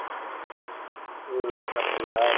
உம் அப்படியா